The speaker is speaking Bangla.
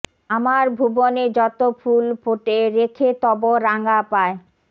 আমার ভুবনে যত ফুল ফোটে রেখে তব রাঙা পায়